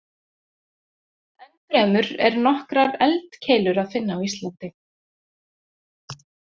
Ennfremur er nokkrar eldkeilur að finna á Íslandi.